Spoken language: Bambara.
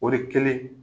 O de kɛlen